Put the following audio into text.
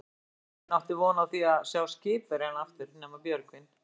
Enginn átti von á því að sjá skipverjana aftur nema Björgvin.